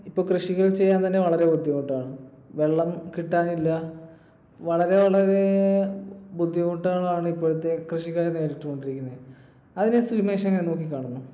ഇപ്പൊ കൃഷികൾ ചെയ്യാൻ തന്നെ വളരെ ബുദ്ധിമുട്ടാണ്. വെള്ളം കിട്ടാനില്ല. വളരെ വളരെ ബുദ്ധിമുട്ടുകളാണ് ഇപ്പോഴത്തെ കൃഷിക്കാർ നേരിട്ട് കൊണ്ടിരിക്കുന്നത്. അതിനെ സുമേഷ് എങ്ങിനെ നോക്കിക്കാണുന്നു?